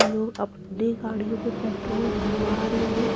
लोग अपनी गाड़ियों में पेट्रोल भरवा रहे हैं।